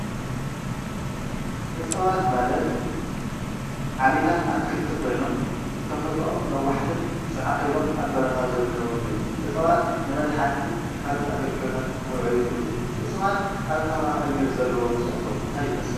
እፅዋት ማለት ዓሌታት ኣትክልቲ ኮይኖም ብተፈጥሮኦም ነዋሕትን ፅዕቕ ኢሎም ኣብ በረኻ ዝርከቡን እዮም። እፅዋት ንመድሓኒትን ካልኦት ኣገልግሎታትን ክውዕል ይኽእሉ። እፅዋት ኣብ ከባቢ ኣየር ዘለዎም ፅዕንቶ እንታይ ይመስል?